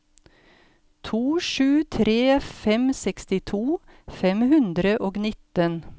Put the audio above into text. to sju tre fem sekstito fem hundre og nitten